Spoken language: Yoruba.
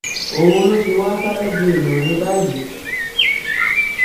òun ló ti wáá sáré di èèyàn mi báyìí